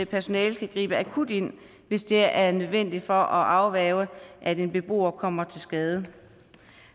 personalet kan gribe akut ind hvis det er nødvendigt for at afværge at en beboer kommer til skade